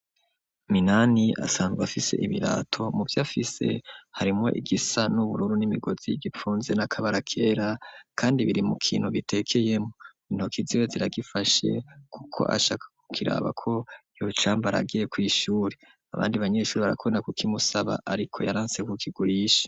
Minani asanzwa afise ibirato mu vyo afise harimwo igisa n'ubururu n'imigozi y'igipfunze n'akabara kera, kandi biri mu kintu bitekeyemwo intoki ziwe ziragifashe, kuko ashaka kukirabako yocamba aragiye kw’ishuri abandi banyeshuri barakonda ku kimusaba ariko yaransekukigurisha.